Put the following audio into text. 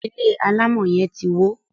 ilé alamò yen tí wọ.